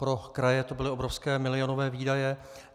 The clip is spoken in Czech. Pro kraje to byly obrovské milionové výdaje.